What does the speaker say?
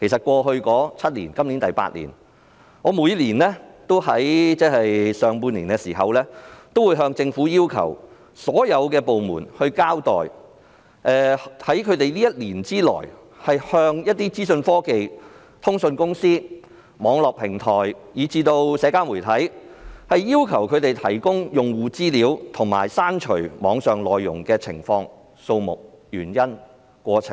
過去數年，我都在每年上半年要求所有政府部門交代，前1年要求資訊科技、通訊公司、網絡平台及社交媒體提供用戶資料和刪除網上內容的情況、次數、原因和過程。